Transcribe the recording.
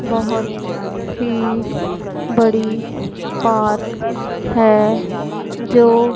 बहोत ही बड़ी पार्क है जो--